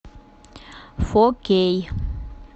фо кей